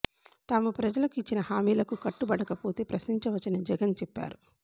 తాము ప్రజలకు ఇచ్చిన హమీలకు కట్టుబడకపోతే ప్రశ్నించవచ్చని జగన్ చెప్పారు